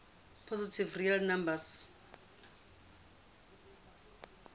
positive real numbers